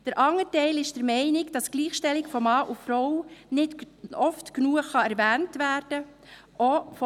Der andere Teil ist der Meinung, dass die Gleichstellung von Mann und Frau nicht oft genug erwähnt werden kann.